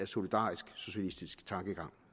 solidarisk socialistisk tankegang